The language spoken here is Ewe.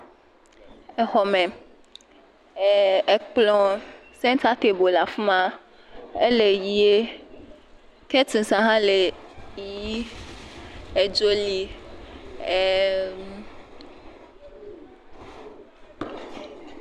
Exɔme, ɛɛɛ ekplɔ̃, seŋtatebol le afi ma. Ele yie, kɛtiŋs hã le yii. Edzo li. Ɛɛɛɛm